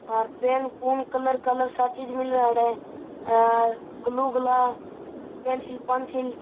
हेर pen पुन colour colour सब चीज मिले अठे हेर ग्लू गला पेंसिल पेंसिल --